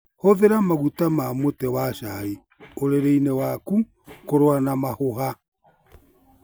Hũthĩra maguta ma mũtĩ wa chai ũrĩrĩ-inĩ waku kũrũa na mahũha.